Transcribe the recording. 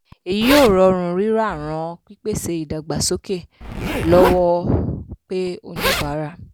èyí yóò rọrùn rírà ràn pípèsè/ìdàgbàsókè lọ́wọ́ pe oníbàárà.